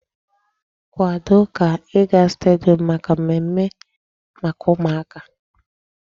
Kwado ka ị ga stadium maka mmemme maka ụmụaka!